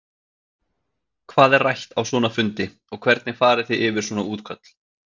Hvað er rætt á svona fundi og hvernig fari þið yfir svona útköll?